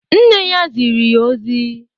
Nne ya ziri ya ozi